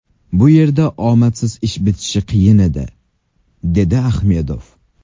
Bu yerda omadsiz ish bitishi qiyin edi”, dedi Ahmedov.